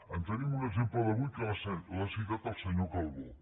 en tenim un exemple d’avui que l’ha citat el senyor calbó